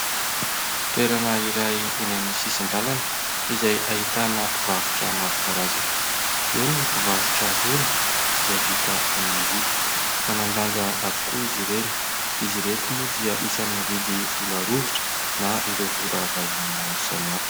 Toerana iray eny amin'ny sisin-dalana izay ahitana mpivarotra maro karazany, eo ny mpivarotra vola izay vita amin'ny vy. Manan-danja avokoa izy ireny. Izy ireto moa dia isan'ny mividy vola rovitra na ireo vola vahiny maro samihafa.